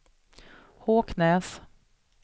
Håknäs